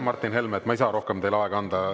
Martin Helme, ma ei saa rohkem teile aega anda.